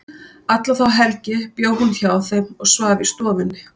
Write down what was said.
Alla þá helgi bjó hún hjá þeim og svaf í stofunni.